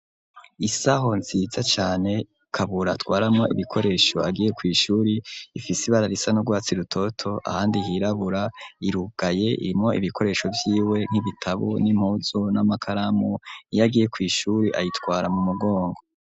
Isaho nziza cane kabura atwaramo ibikoresho agiye kw'ishuri ifise ibara risa no rwatsi rutoto ahandi hirabura irugaye irimwo ibikoresho vyiwe nk'ibitabu n'impuzo n'amakaramu niyo agiye kw'ishuri ayitwara mu mugongo.